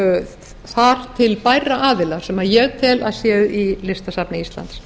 þar til bærra aðila sem ég tel að séu í listasafni íslands